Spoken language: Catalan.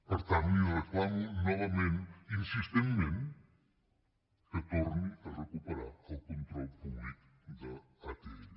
per tant li reclamo novament insistentment que torni a recuperar el control públic d’atll